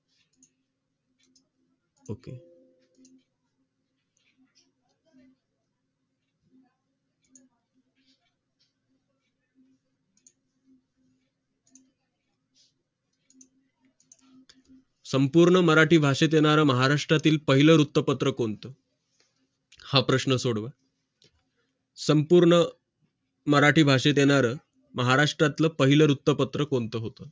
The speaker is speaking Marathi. संपूर्ण मराठी भाषेत येणारा महाराष्ट्रातील पहिले वृत्तपत्र कोणतं हा प्रश्न सोडव संपूर्ण मराठी भाषेत येणार महाराष्ट्रातलं पहिलं उत्तम पत्र कोणतं होतो